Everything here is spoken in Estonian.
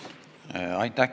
Aitäh!